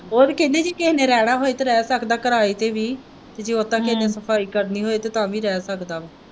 ਉਹ ਤੇ ਕਹਿੰਦੇ ਜੇ ਕਿਸੇ ਨੇ ਰਹਿਣਾ ਹੋਏ ਤੇ ਰਹਿ ਸਕਦਾ ਹੈ ਕਿਰਾਏ ਤੇ ਵੀ ਤੇ ਜੇ ਉਦਾਂ ਕਿਸੇ ਨੇ ਸਫਾਈ ਕਰਨੀ ਹੋਏ ਤੇ ਤਾਂ ਵੀ ਰਹਿ ਸਕਦਾ ਹੈ।